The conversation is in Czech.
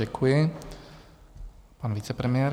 Děkuji, pan vicepremiér.